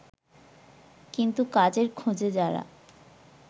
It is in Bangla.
কিন্তু কাজের খোঁজে যারা